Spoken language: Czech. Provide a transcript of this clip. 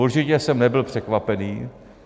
Určitě jsem nebyl překvapen.